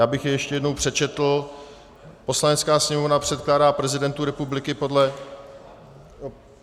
Já bych jej ještě jednou přečetl: Poslanecká sněmovna předkládá prezidentu republiky podle...